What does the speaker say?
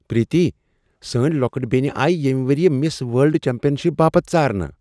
پریتی! سٲنۍ لۄکٕٹ بینہِ آیہ ییٚمہِ ؤرِیہ مِس ورلڈ چیمپین شِپ باپت ژارنہٕ۔